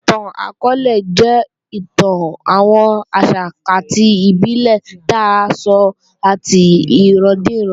Ìtàn akọọ́lẹ̀ jẹ́ ìtàn àwọn àṣà àti ìbílè tí à ńsọ láti ìran díran